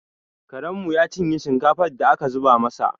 Karenmu ya cinye shinkafar da aka zuba masa